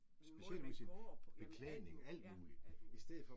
Måden man går på, jamen alt muligt, ja, alt muligt